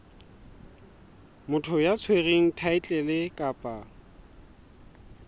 motho ya tshwereng thaetlele kapa